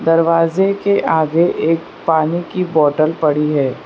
दरवाजे के आगे एक पानी की बॉटल पड़ी है।